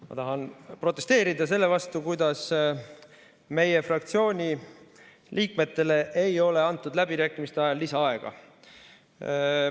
Ma tahan protesteerida selle vastu, kuidas meie fraktsiooni liikmetele ei ole antud läbirääkimiste ajal lisaaega.